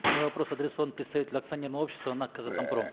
мой вопрос адресован представителю акционерного общества нак казатомпром